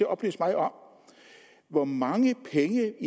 oplyse mig om hvor mange penge